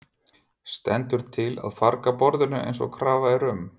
Stendur til að farga borðinu eins og krafa er um?